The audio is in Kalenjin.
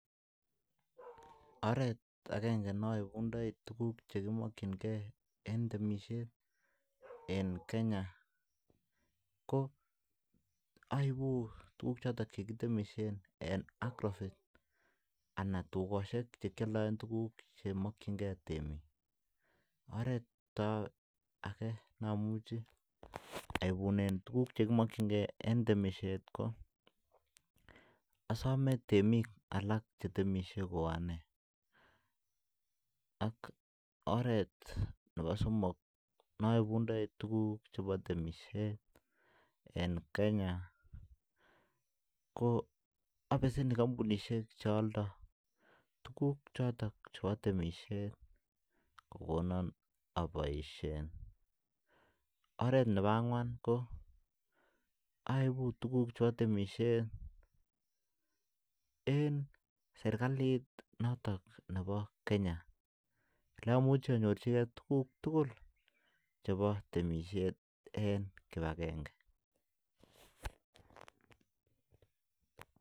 Oret akengee naibuu tuguk cheboo temishet aibunee (agrovet) anan kotukosyek chekialde tuguk chotok oret akee abesenin kampunit chotok aldo tuguk chepoo temishet kokonoo abaishee koraa aibuu tuguk tuguk chekitemishei eng serkalit notok boo kenya